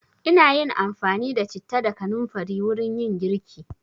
Ina yin amfani da citta da kanamfari wurin yin girki.